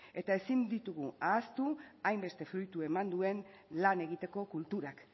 eta ezin ditugu ahaztu hainbeste fruitu eman duen lan egiteko kulturak